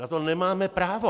Na to nemáme právo.